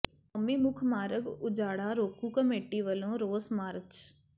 ਕੌਮੀ ਮੁੱਖ ਮਾਰਗ ਉਜਾੜਾ ਰੋਕੂ ਕਮੇਟੀ ਵੱਲੋਂ ਰੋਸ ਮਾਰਚ